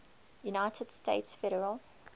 united states federal